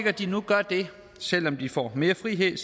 at de nu gør det selv om de får mere frihed